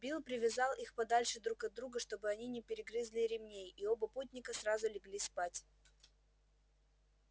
билл привязал их подальше друг от друга чтобы они не перегрызли ремней и оба путника сразу легли спать